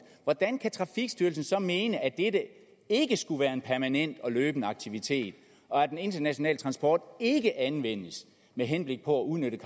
hvordan kan trafikstyrelsen så mene at dette ikke skulle være en permanent og løbende aktivitet og at den internationale transport ikke anvendes med henblik på at udnytte